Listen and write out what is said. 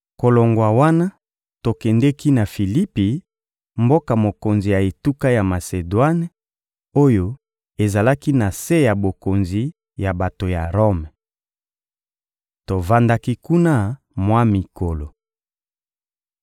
Kolongwa wana, tokendeki na Filipi, mboka mokonzi ya etuka ya Masedwane oyo ezalaki na se ya bokonzi ya bato ya Rome. Tovandaki kuna mwa mikolo.